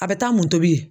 A bɛ taa mun tobi